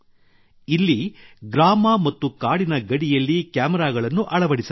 ಇಲ್ಲಿ ಗ್ರಾಮ ಮತ್ತು ಕಾಡಿನ ಗಡಿಯಲ್ಲಿ ಕ್ಯಾಮೆರಾಗಳನ್ನು ಅಳವಡಿಸಲಾಗಿದೆ